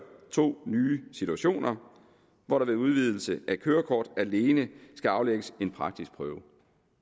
to nye situationer hvor der ved udvidelse af kørekortet alene skal aflægges en praktisk prøve